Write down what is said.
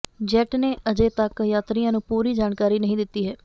jet ਨੇ ਅਜੇ ਤੱਕ ਯਾਤਰੀਆਂ ਨੂੰ ਪੂਰੀ ਜਾਣਕਾਰੀ ਨਹੀਂ ਦਿੱਤੀ ਹੈ